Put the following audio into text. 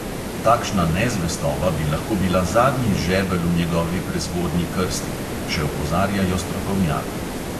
Takšna nezvestoba bi lahko bila zadnji žebelj v njegovi prezgodnji krsti, še opozarjajo strokovnjaki.